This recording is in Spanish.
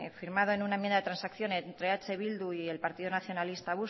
firmado en una enmienda de transacción entre eh bildu y el partido nacionalista